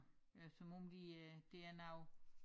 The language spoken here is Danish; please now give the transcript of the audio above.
Øh som om de er det er noget